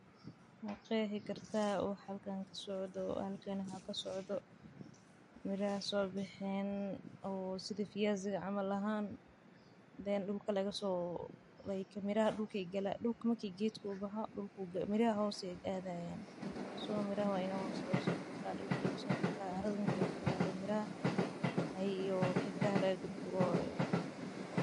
Maqexi karta waxa halkan kasocdo marki gedka u baxo miraha caradha marki laga korqadho xididyaha aya laga kor guraa marka sas waye.